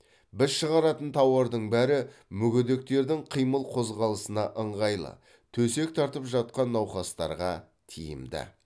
біз шығаратын тауардың бәрі мүгедектердің қимыл қозғалысына ыңғайлы төсек тартып жатқан науқастарға тиімді